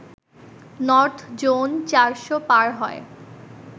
north zone চারশ পার হয়